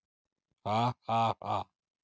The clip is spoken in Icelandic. Ha ha ha.